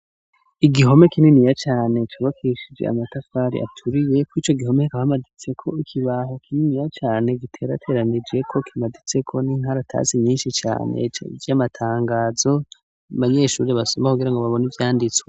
Igihome kinini ya cane cobakishije amatafari aturiye ku ico gihome kahamaditseko ikibaho kinini ya cane giterateranijeko kimaditseko n'inkara atasi nyinshi cane vy'amatangazo abanyeshuri abasoma kugira ngo babona ivyanditswe.